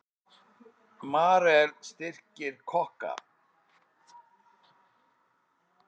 Marel styrkir kokka